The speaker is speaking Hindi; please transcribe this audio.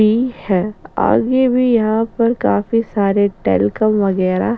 भी है आगे भी यहाँ पर काफी सारे टेल्कोमे वगेरा --